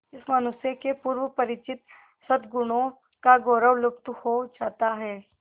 इस मनुष्य के पूर्व परिचित सदगुणों का गौरव लुप्त हो जाता है